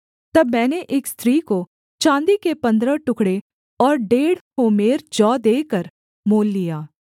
तब मैंने एक स्त्री को चाँदी के पन्द्रह टुकड़े और डेढ़ होमेर जौ देकर मोल लिया